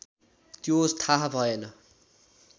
त्यो थाहा भएन